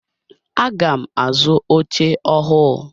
Aga m azu oche ọhụụ.